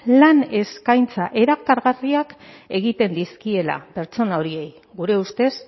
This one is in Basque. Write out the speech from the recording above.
lan eskaintza erakargarriak egiten dizkiela pertsona horiei gure ustez